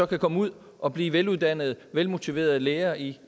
kan komme ud og blive veluddannede velmotiverede lærere i